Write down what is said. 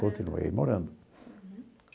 Continuei morando.